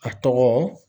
A tɔgɔ